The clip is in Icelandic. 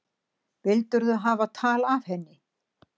Vildirðu hafa tal af henni?